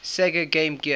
sega game gear